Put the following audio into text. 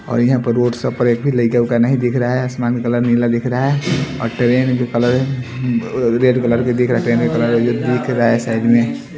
और यहां पर रोड्स प पर एक भी लग का नहीं दिख रहा है आसमान कलर नीला दिख रहा है और ट्रेन के कलर रेड कलर के दिख रहा है ट्रेन क कलर दिख रहा है साइड में--